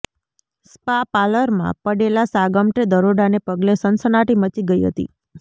spa પાર્લરમાં પડેલા સાગમટે દરોડાને પગલે સનસનાટી મચી ગઈ હતી